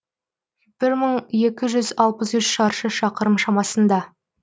бір мың екі жүз алпыс үш шаршы шақырым шамасында